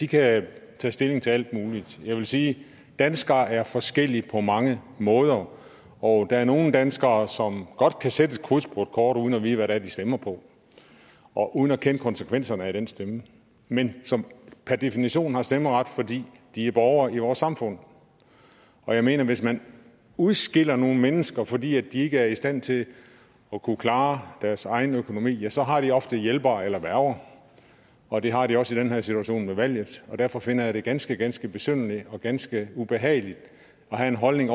kan tage stilling til alt muligt jeg vil sige danskere er forskellige på mange måder og der er nogle danskere som godt kan sætte et kryds på et kort uden at vide hvad det er de stemmer på og uden at kende konsekvenserne af den stemme men som per definition har stemmeret fordi de er borgere i vores samfund jeg mener at hvis man udskiller nogle mennesker fordi de ikke er i stand til at kunne klare deres egen økonomi ja så har de ofte hjælpere eller værger og det har de også i den her situation med valget derfor finder jeg det ganske ganske besynderligt og ganske ubehageligt at have den holdning